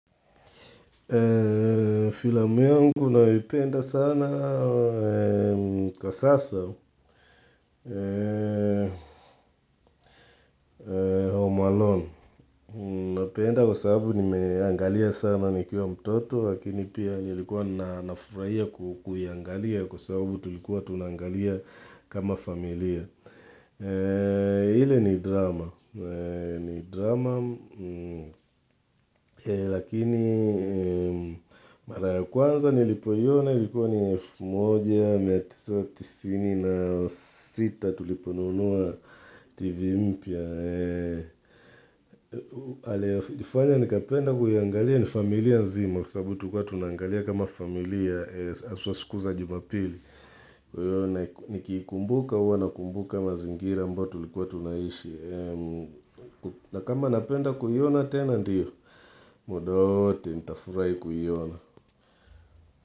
Filamu yangu nayo ipenda sana kwa sasa home alone Napenda kwa sababu nimeangalia sana nikiwa mtoto Lakini pia nilikuwa na nafuraia kukuiangalia Kwa sababu tulikuwa tunangalia kama familia ile ni drama ni drama, lakini mara ya kwanza nilipoiona likuwa ni elfu moja mia tisa tisini na sita tuliponunua TV mpya. Nifanya nikapenda kuiangalia ni familia nzima, kwa sababu tulikwa tunaangalia kama familia haswa siku za Jumapili. Kwa hiyo nikiikumbuka huwa nakumbuka mazingira ambayo tulikuwa tunaishi. Na kama napenda kuiona tena ndio muda wowote nitafurahi kuiona.